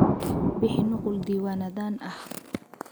Bixi nuqul diiwaanadan ah.